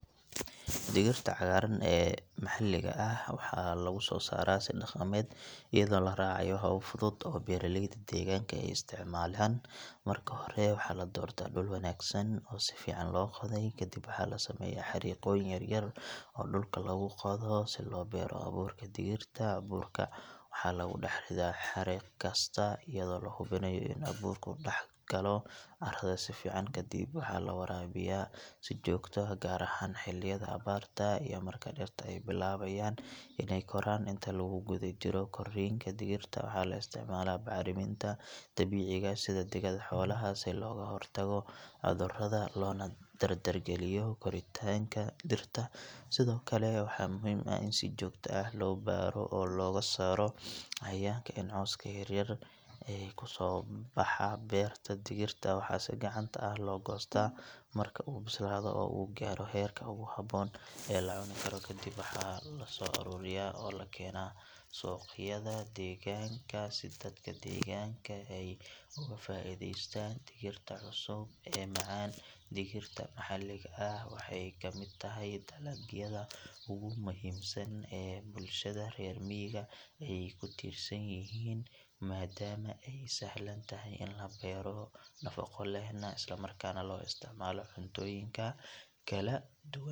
Digirta cagaaran ee maxalliga ah waxaa lagu soo saaraa si dhaqameed iyadoo la raacayo habab fudud oo beeraleyda deegaanka ay isticmaalaan marka hore waxaa la doortaa dhul wanaagsan oo si fiican loo qoday kadib waxaa la sameeyaa xariiqooyin yaryar oo dhulka lagu qodo si loo beero abuurka digirta abuurka waxaa lagu dhex ridaa xariiq kasta iyadoo la hubinayo in abuurku dhex galo carrada si fiican kadib waxaa la waraabiyaa si joogto ah gaar ahaan xilliyada abaarta iyo marka dhirta ay bilaabayaan inay koraan inta lagu guda jiro korriinka digirta waxaa la isticmaalaa bacriminta dabiiciga ah sida digada xoolaha si looga hortago cudurada loona dardargeliyo koritaanka dhirta sidoo kale waxaa muhiim ah in si joogto ah loo baadho oo laga saaro cayayaanka iyo cawska yar yar ee ku soo baxa beerta digirta waxaa si gacanta ah loo goostaa marka uu bislaado oo uu gaaro heerka ugu habboon ee la cuni karo kadib waxaa la soo ururiyaa oo la keenaa suuqyada deegaanka si dadka deegaanka ay uga faa’iidaystaan digirta cusub ee macaan digirta maxalliga ah waxay ka mid tahay dalagyada ugu muhiimsan ee bulshada reer miyiga ay ku tiirsan yihiin maadaama ay sahlan tahay in la beero, nafaqo lehna, isla markaana loo isticmaalo cuntooyinka kala duwan.